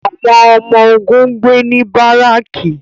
àwọn ọmọ-ogun n gbe ni bariki